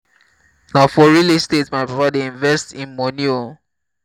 na for real estate my papa dey invest im moni o.